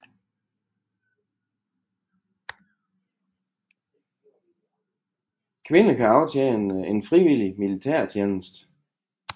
Kvinder kan aftjene en frivillig militærtjeneste